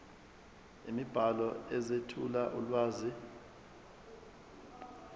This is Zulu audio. imibhalo ezethula ulwazi